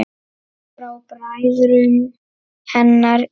Frá bræðrum hennar í